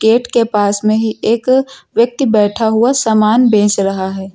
Gate के पास में ही एक व्यक्ति बैठा हुआ सामान बेच रहा है।